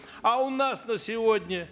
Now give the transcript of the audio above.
а у нас на сегодня